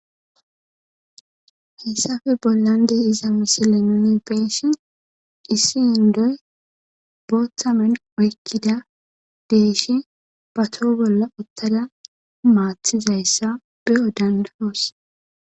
hessafe bollande iza misile nuni penshin issi yindoy booththamen oykkida deeshi ba too bolla ottada maathizayssa beyo dandahoos